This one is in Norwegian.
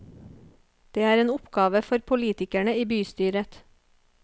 Det er en oppgave for politikerne i bystyret.